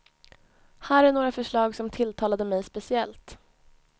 Här några förslag som tilltalade mig speciellt.